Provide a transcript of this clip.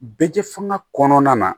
Bɛɛ fanga kɔnɔna na